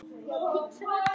Ballett hefur verið mitt líf